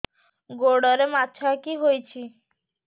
ଗୋଡ଼ରେ ମାଛଆଖି ହୋଇଛି